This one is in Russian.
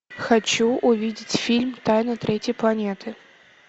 хочу увидеть фильм тайны третьей планеты